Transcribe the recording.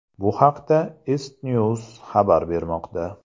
Bu haqda ICTNEWS xabar bermoqda .